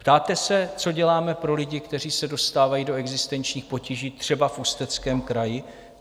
Ptáte se, co děláme pro lidi, kteří se dostávají do existenčních potíží, třeba v Ústeckém kraji?